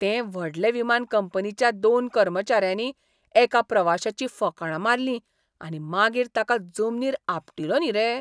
ते व्हडले विमान कंपनीच्या दोन कर्मचाऱ्यांनी एका प्रवाशाचीं फकांणां मारली आनी मागीर ताका जमनीर आपटिलो न्ही रे.